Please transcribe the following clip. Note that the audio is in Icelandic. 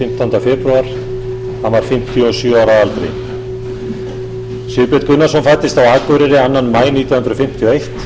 fimmtánda febrúar hann var fimmtíu og sjö ára að aldri sigbjörn gunnarsson fæddist á akureyri annan maí nítján hundruð fimmtíu og eitt